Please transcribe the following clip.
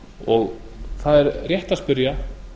og það er rétt að spyrja